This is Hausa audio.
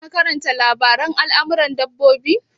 Ka na karanta labaren almaran dabbobi?